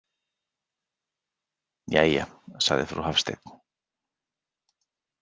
Jæja, sagði frú Hafstein.